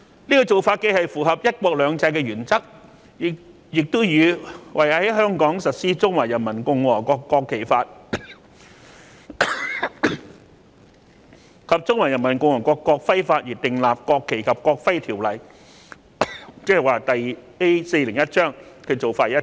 這種做法既符合"一國兩制"的原則，亦與為在香港實施《中華人民共和國國旗法》及《中華人民共和國國徽法》而訂立《國旗及國徽條例》的做法一致。